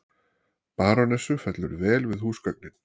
Barónessu fellur vel við húsgögnin.